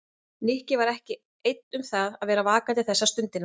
Nikki var ekki einn um það að vera vakandi þessa stundina.